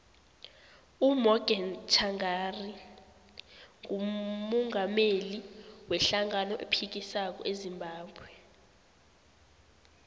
umorgan tshangari ngumungameli we hlangano ephikisako ezimbabwe